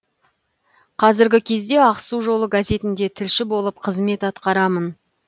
қазіргі кезде ақсу жолы газетінде тілші болып қызмет атқарамын